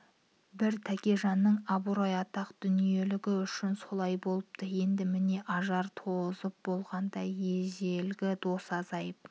бір тәкежанның абырой атақ дүниелігі үшін солай болыпты енді міне ажар тозып болғанда ежелгі дос азып